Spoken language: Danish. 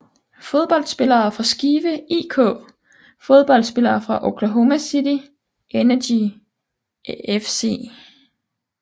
Fodboldspillere fra Skive IK Fodboldspillere fra Oklahoma City Energy FC